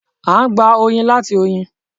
À n gbà oyin láti oyin